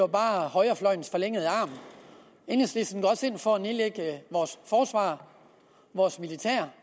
bare er højrefløjens forlængede arm enhedslisten går også ind for at nedlægge forsvaret vores militær